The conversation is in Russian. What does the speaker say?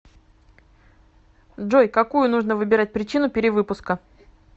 джой какую нужно выбирать причину перевыпуска